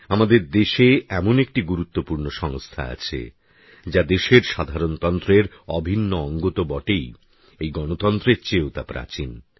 আমাদের দেশে এমন একটি গুরুত্বপূর্ণ সংস্থা আছে যা দেশের সাধারণতন্ত্রের অভিন্ন অঙ্গতো বটেই এই গণতন্ত্রের চেয়েও তা প্রাচীন